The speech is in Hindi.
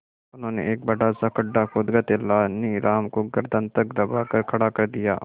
उन्होंने एक बड़ा सा गड्ढा खोदकर तेलानी राम को गर्दन तक दबाकर खड़ा कर दिया